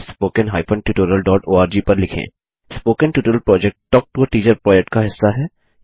spoken tutorial project talk to a teacher project का हिस्सा है